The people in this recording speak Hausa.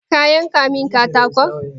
Ka yanka min katakon?